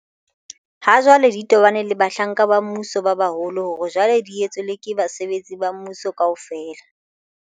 ha jwale di tobaneng le bahlanka ba mmuso ba baholo hore jwale di etswe le ke basebetsi ba mmuso kaofela.